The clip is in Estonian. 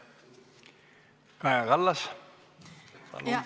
Kaja Kallas, palun!